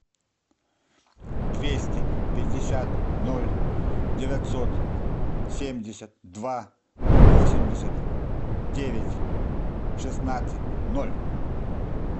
двести пятьдесят ноль девятьсот семьдесят два восемьдесят девять шестнадцать ноль